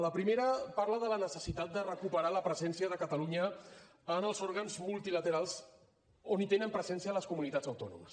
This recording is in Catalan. la primera parla de la necessitat de recuperar la presència de catalunya en els òrgans multilaterals on tenen presència les comunitats autònomes